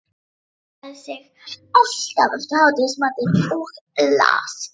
Hann lagði sig alltaf eftir hádegismatinn og las